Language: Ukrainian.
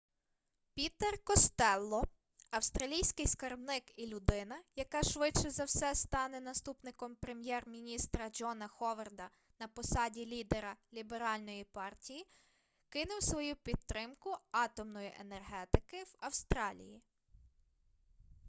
пітер костелло австралійський скарбник і людина яка швидше за все стане наступником прем'єр-міністра джона ховарда на посаді лідера ліберальної партії кинув свою підтримку атомної енергетики в австралії